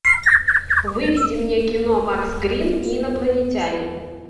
выведи мне кино макс грин и инопланетяне